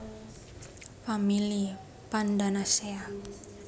Famili Pandanaceae